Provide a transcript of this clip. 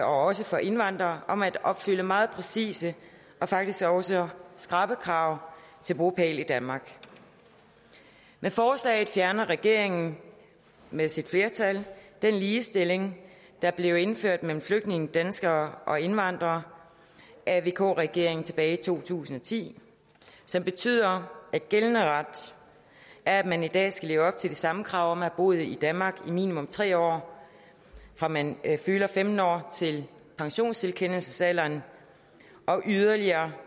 også for indvandrere om at opfylde meget præcise og faktisk også skrappe krav til bopæl i danmark med forslaget fjerner regeringen med sit flertal den ligestilling der blev indført mellem flygtninge danskere og indvandrere af vk regeringen tilbage i to tusind og ti som betyder at gældende ret er at man i dag skal leve op til de samme krav om at have boet i danmark i minimum tre år fra man fylder femten år til pensionstilkendelsesalderen og yderligere